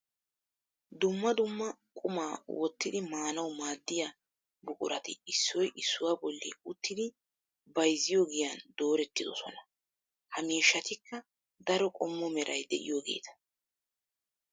Dumma dumma quma wottiddi maanawu maadiya buquratti issoy issuwa bolli uttiddi bayzziyo giyan doorettidosonna. Ha miishshattikka daro qommo meray de'iyoogetta.